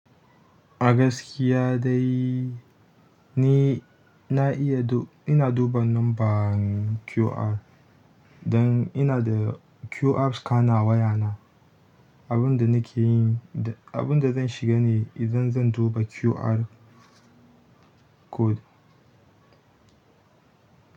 A gaskiya dai ni na iya, ina duba numban QR don ina da QR scanner a wayana. Abin da nake yi, abin da zan shiga ne idan zan duba QR code.